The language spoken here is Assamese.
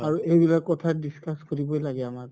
আৰু এইবিলাক কথা discuss কৰিবৈ লাগে আমাৰ